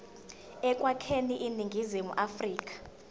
ekwakheni iningizimu afrika